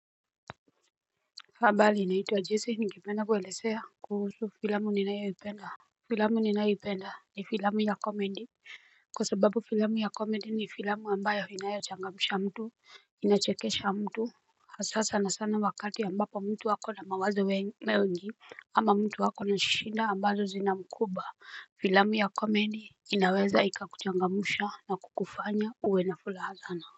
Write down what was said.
Habali naitwa Jesse ningependa kuelezea kuhusu filamu ninayoipenda Filamu ninayoipenda ni filamu ya komedi Kwa sababu filamu ya komedi ni filamu ambayo inayochangamusha mtu Inachekesha mtu Hasa sanasana wakati ambapo mtu ako na mawazo mengi ama mtu ako na shida ambazo zinamkumba Filamu ya komedi inaweza ikakuchangamusha na kukufanya uwe na furaha sana.